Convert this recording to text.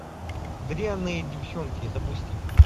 дрянные девчонки запусти